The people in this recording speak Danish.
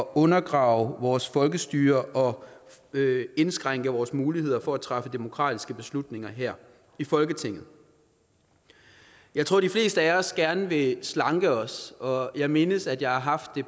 undergraver vores folkestyre og indskrænker vores muligheder for at træffe demokratiske beslutninger her i folketinget jeg tror de fleste af os gerne vil slanke os og jeg mindes at jeg har haft det